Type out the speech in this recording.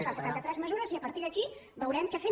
de les setanta tres mesures i a partir d’aquí veurem què fem